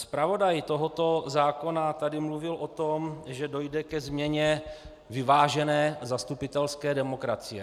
Zpravodaj tohoto zákona tady mluvil o tom, že dojde ke změně vyvážené zastupitelské demokracie.